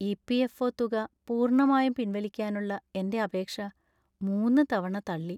EPFO. തുക പൂർണ്ണമായും പിൻവലിക്കാനുള്ള എന്‍റെ അപേക്ഷ മൂന്ന് തവണ തള്ളി.